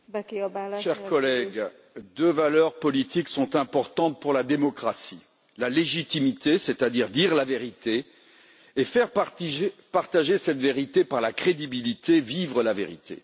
Madame la Présidente, deux valeurs politiques sont importantes pour la démocratie la légitimité, c'est à dire dire la vérité et faire partager cette vérité par la crédibilité, vivre la vérité.